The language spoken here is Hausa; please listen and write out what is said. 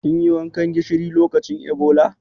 Kin yi wankan gishiri lokacin Ebola?